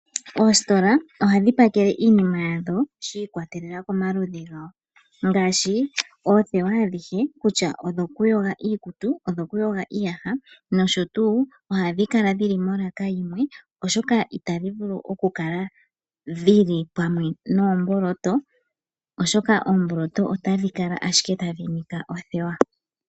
Oositola ohadhi pakele iinima yadho shi ikwatelela komaludhi gawo ,Ngaashi oothewa adhihe kutya odhokuyoga iikutu ,odho kuyoga iiyaha nosho tuu oshoka oomboloto otadhi kala ashike tadhi nika othewa.